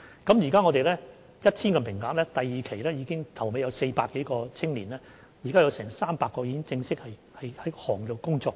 我們提供 1,000 個名額，現時是第二年，在400多名參與的青年當中 ，300 名已經正式在業內工作。